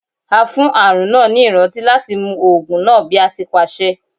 A fún àrùn náà ni ìrántí láti mu oògùn náà bí a ti pàṣẹ.